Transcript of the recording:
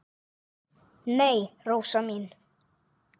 Nei, Rósa mín.